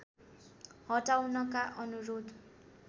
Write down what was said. हटाउनका अनुरोध